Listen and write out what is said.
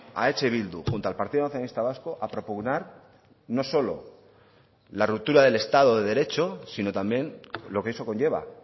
a eh bildu junto al partido nacionalista vasco a propugnar no solo la ruptura del estado de derecho sino también lo que eso conlleva